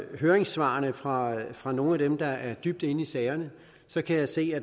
høringssvarene fra fra nogle af dem der er dybt inde i sagerne kan jeg se at